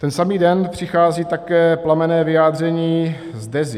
Ten samý den přichází také plamenné vyjádření z Dezy.